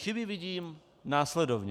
Chyby vidím následovně: